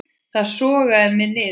Það sogaði mig niður.